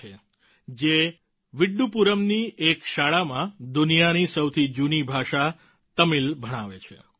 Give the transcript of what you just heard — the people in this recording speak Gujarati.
કે છે જે વિડ્ડુપુરમની એક શાળામાં દુનિયાની સૌથી જૂની ભાષા તમિલ ભણાવે છે